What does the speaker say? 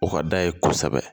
O ka d'a ye kosɛbɛ